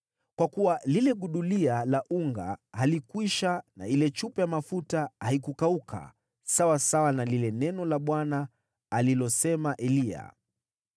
Kwa kuwa lile gudulia la unga halikwisha na ile chupa ya mafuta haikukauka, sawasawa na lile neno la Bwana alilosema Eliya.